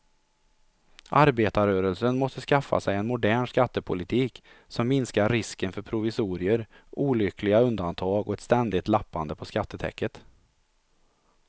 Arbetarrörelsen måste skaffa sig en modern skattepolitik som minskar risken för provisorier, olyckliga undantag och ett ständigt lappande på skattetäcket.